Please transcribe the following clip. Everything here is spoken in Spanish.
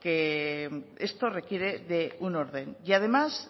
que esto requiere de un orden y además